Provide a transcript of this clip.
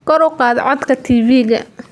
Kor u qaad codka TV-ga.